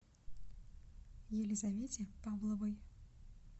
елизавете павловой